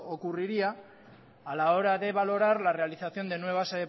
ocurriría a la hora de valorar la realización de nuevas